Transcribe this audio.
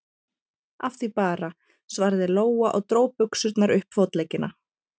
Af því bara, svaraði Lóa og dró buxurnar upp fótleggina.